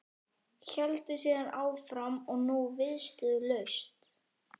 Héldi síðan áfram og nú viðstöðulaust